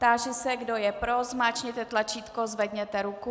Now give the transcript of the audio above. Táži se, kdo je pro, zmáčkněte tlačítko, zvedněte ruku.